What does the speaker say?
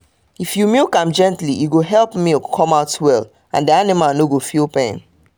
if you milk am gently e go help milk come out well and the animal no go feel pain